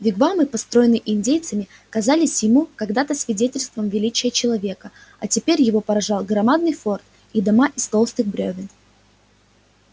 вигвамы построенные индейцами казались ему когда-то свидетельством величия человека а теперь его поражал громадный форт и дома из толстых брёвен